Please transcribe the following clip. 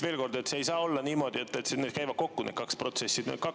Veel kord, see ei saa olla niimoodi, et need käivad kokku, need kaks.